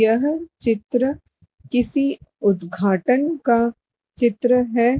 यह चित्र किसी उद्घाटन का चित्र हैं।